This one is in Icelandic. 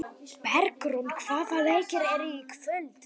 Bergrún, hvaða leikir eru í kvöld?